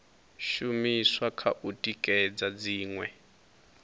shumiswa kha u tikedza dziṅwe